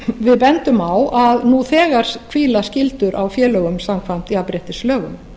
við bendum á að nú þegar hvíla skyldur á félögum samkvæmt jafnréttislögunum